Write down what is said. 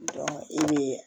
i bɛ